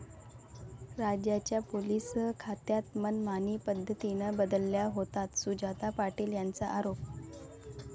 राज्याच्या पोलीस खात्यात मनमानी पद्धतीनं बदल्या होतात, सुजाता पाटील यांचा आरोप